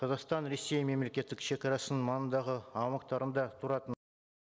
қазақстан ресей мемлекеттік шегарасының маңындағы аумақтарында тұратын